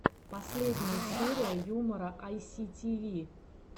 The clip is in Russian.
последняя серия юмора айситиви